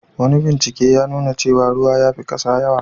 Wani bincike ya nuna cewa ruwa ya fi kasa yawa.